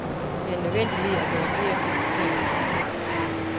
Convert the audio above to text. Det er en nødvendighed, at der er flere finansieringskilder.